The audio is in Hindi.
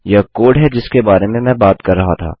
यह कोड है जिसके बारे में मैं बात कर रहा था